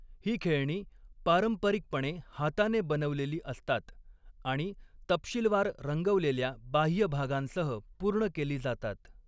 ही खेळणी पारंपरिकपणे हाताने बनवलेली असतात आणि तपशीलवार, रंगवलेल्या बाह्य भागांसह पूर्ण केली जातात.